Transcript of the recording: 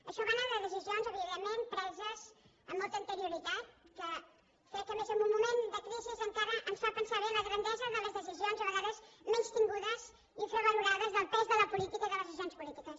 això a banda de decisions evidentment preses amb molta anterioritat que crec que a més en un moment de crisi encara ens fa pensar bé en la grandesa de les decisions a vegades menystingudes infravalorades del pes de la política i de les decisions polítiques